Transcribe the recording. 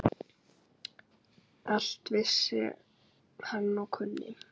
Allt vissi hann og kunni.